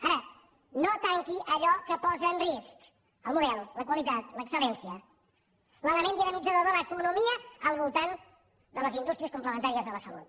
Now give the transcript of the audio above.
ara no tanqui allò que posa en risc el model la qualitat l’excel·lència l’element dinamitzador de l’economia al voltant de les indústries complementàries de la salut